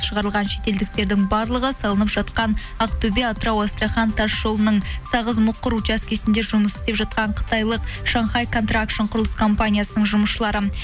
шығарылған шетелдіктердің барлығы салынып жатқан ақтөбе атырау астрахань тас жолының сағыз мұқыр участкесінде жұмыс істеп жатқан қытайлық шанхай контракшн құрылыс компаниясының жұмысшылары